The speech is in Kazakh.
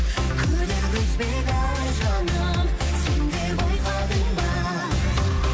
күдер үзбейді жаным сен де байқадың ба